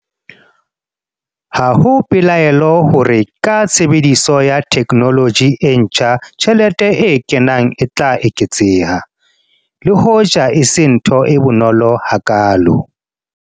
Ha ho pelaelo hore ka tshebediso ya theknoloji e ntjha tjhelete e kenang e tla eketseha, le hoja e se ntho e bonolo hakaalo.